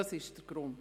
Das ist der Grund.